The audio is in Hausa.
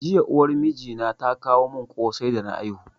Jiya uwar mijina ta kawo mun kosai da na haihu